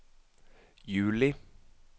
juli